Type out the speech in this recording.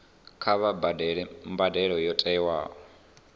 kha vha badele mbadelo yo tiwaho